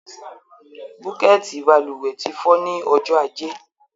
Búkẹ̀tì balùwẹ̀ ti fọ́ ní ọjọ́ ajé